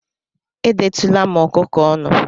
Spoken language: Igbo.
Edetụla m ọkụkọ ọnụ